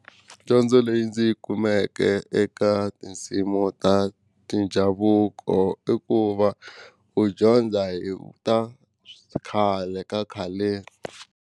Dyondzo leyi ndzi yi kumeke eka tinsimu ta tindhavuko i ku va u dyondza hi ta khale ka khaleni.